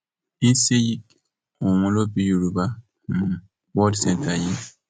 ọhún ló bí yorùbá um world centre yìí